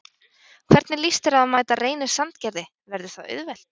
Hvernig lýst þér á að mæta Reyni Sandgerði, verður það auðvelt?